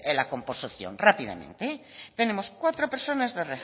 la composición rápidamente tenemos cuatro personas de